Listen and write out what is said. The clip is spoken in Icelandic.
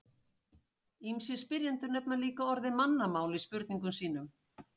Ýmsir spyrjendur nefna líka orðið mannamál í spurningum sínum.